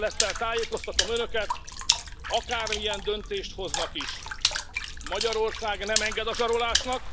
Tisztelettel tájékoztatom Önöket, akármilyen döntést hoznak is, Magyarország nem enged a zsarolásnak.